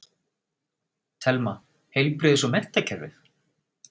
Telma: Heilbrigðis- og menntakerfið?